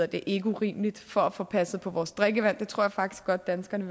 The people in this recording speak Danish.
det ikke urimeligt for at få passet på vores drikkevand det tror jeg faktisk godt at danskerne